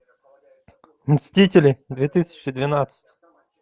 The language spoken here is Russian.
мстители две тысячи двенадцать